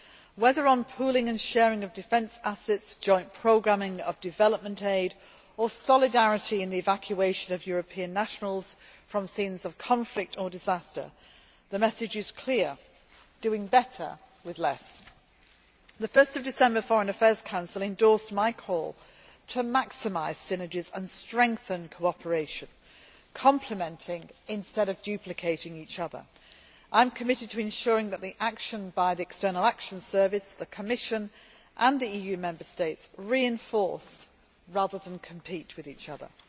whether on pooling and sharing of defence assets, joint programming of development aid, or solidarity in the evacuation of European nationals from scenes of conflict or disaster. The message is clear doing better with less. The 1 December Foreign Affairs Council endorsed my call to maximise synergies and strengthen cooperation complementing instead of duplicating each other. I am committed to ensuring that the actions by the External Action Service, the Commission and the EU Member States reinforce rather than compete with each other.